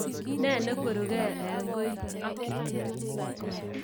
Ne nekweruke en koi.